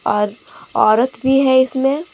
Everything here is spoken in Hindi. और औरत भी है इसमें।